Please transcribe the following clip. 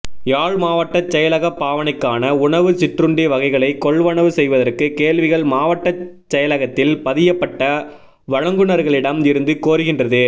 யாழ் மாவட்டச்செயலகப் பாவனைக்கான உணவு சிற்றுண்டி வகைகளைக் கொள்வனவு செய்வதற்கு கேள்விகள் மாவட்டச் செயலகத்தில் பதியப்பட்ட வழங்குனர்களிடம் இருந்து கோருகின்றது